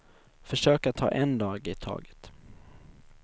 Försök att ta en dag i taget.